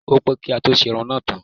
Ó pẹ́ kí á tó ṣe irun náà tán.